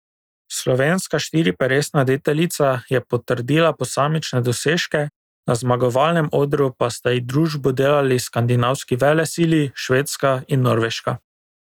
Slovenska štiriperesna deteljica je potrdila posamične dosežke, na zmagovalnem odru pa sta ji družbo delali skandinavski velesili, Švedska in Norveška.